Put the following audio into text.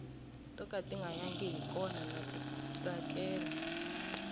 to ka tinga yangi i kona ndza ti tsakela